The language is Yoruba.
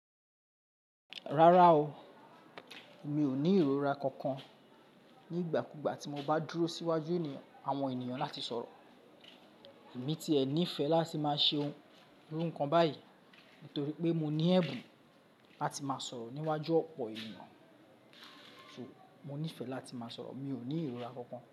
Rárá o, mi ò ní ìrora kankan. Nígbà kúgbà tí mo bá dúró síwájú àwọn ènìyàn láti sọ̀rọ̀. Èmi ti ẹ nifẹ́ láti máa ṣe ohun iru nkan báyìí, nítorí pé mo ní ẹ̀bùn láti máa sọ̀rọ̀ níwájú ọ̀pọ̀ ènìyàn. So, mo nífẹ̀ẹ́ láti máa sọ̀rọ̀, mi ò ní ìrora kankan.